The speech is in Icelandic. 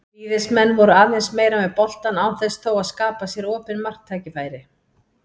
Víðismenn voru aðeins meira með boltann án þess þó að skapa sér opin marktækifæri.